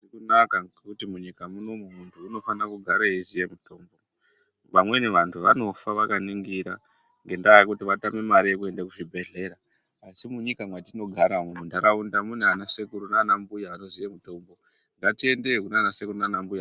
Hazvizi kunaka ngekuti munyika munomu muntu unofanira kugara echiziya mitombo vamweni vantu vanofa vakaningira ngendaa yekuti vatame mare yekuenda kuzvibhedhlera asi munyika mwetinogara umu mundaraunda munanasekuru nanambuya vanoziye mutombo ngatiendeyo kunanasekuru nanambuya.